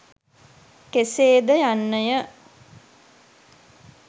කෙසේ ද යන්නය.